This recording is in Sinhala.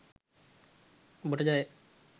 ඔබට ජය !